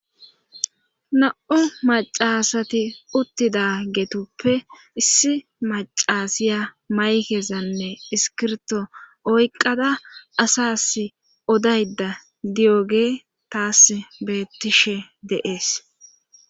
na7u macasati uttidageetuppe issi macasiya maykezanne iskirto oyqqada asas odayda diyoge taas beettishe de7ees.